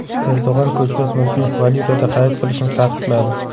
Erdo‘g‘on ko‘chmas mulkni valyutada xarid qilishni taqiqladi.